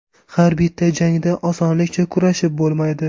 Har bitta jangda osonlikcha kurashib bo‘lmaydi.